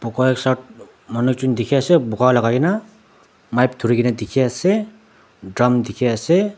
sat manu jun dekhi ase boga lagai kena mic thori kena dekhi ase drum dekhi ase.